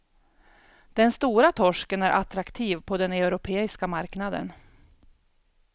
Den stora torsken är attraktiv på den europeiska marknaden.